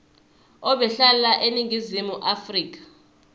ebehlala eningizimu afrika